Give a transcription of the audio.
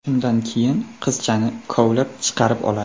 Shundan keyin qizchani kovlab chiqarib oladi.